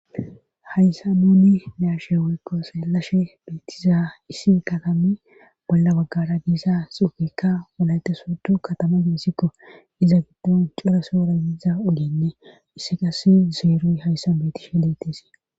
haysan nuni be7ashee woykko xeellashe beettiza issi katami bolla baggara diza xuufeykka wolaytta sooddo katama geesiko;izankka cora sohora yiza ogeenne issi qassi zeroy hayssan beettishe des.